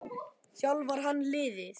Þjálfar hann liðið?